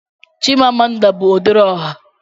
Chimamanda bụ odere ọha.